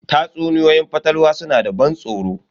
Tatsuniyoyin fatalwa suna da ban tsoro.